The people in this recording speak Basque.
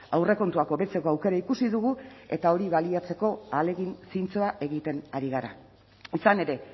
aurrekontuak hobetzeko aukera ikusi dugu eta hori baliatzeko ahalegin zintzoa egiten ari gara izan ere